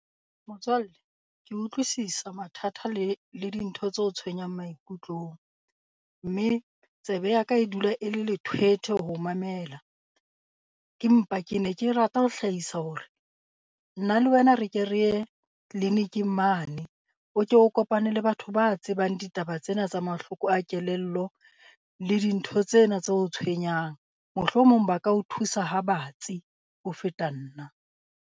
Motswalle ke utlwisisa mathata le le dintho tse o tshwenyang maikutlong. Mme tsebe ya ka e dula e le lethwetwhe ho o mamela. Ke mpa ke ne ke rata ho hlahisa hore, nna le wena re ke re ye tleliniking mane o ke o kopane le batho ba tsebang ditaba tsena tsa mahloko a kelello le dintho tsena tse o tshwenyang. Mohlomong ba ka o thusa ha batsi ho feta nna.